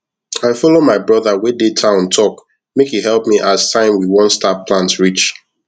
i follow my brother wey dey town talk make e help me as time we want start plant reach